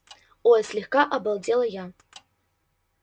ой слегка обалдела я